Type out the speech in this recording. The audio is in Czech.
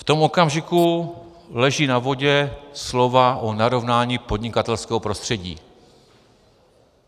V tom okamžiku leží na vodě slova o narovnání podnikatelského prostředí.